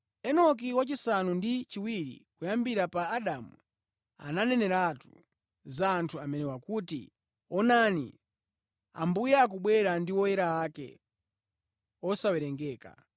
Enoki, wachisanu ndi chiwiri kuyambira pa Adamu, ananeneratu za anthu amenewa kuti, “Onani, Ambuye akubwera ndi oyera ake osawerengeka